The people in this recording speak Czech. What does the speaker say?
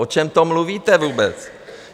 O čem to mluvíte vůbec?